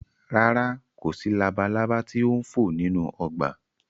Rárá, kò sí labalaba tí ó ń fò nínú ọgbà